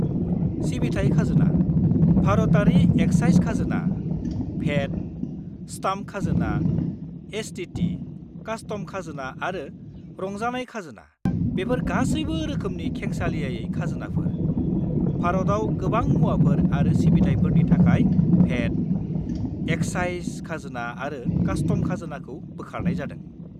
सिबिथाइ खाजोना, भारतारि एक्साइज खाजोना, भेट, स्टाम्प खाजोना, एसटीटी, कास्टम खाजोना आरो रंजानाय खाजोना, बेफोर गासैबो रोखोमनि खेंसालियायै खाजोनाफोर, भारताव गोबां मुवाफोर आरो सिबिथाइफोरनि थाखाय भेट, एक्साइज खाजोना आरो कास्टम खाजोनाखौ बोखारनाय जादों।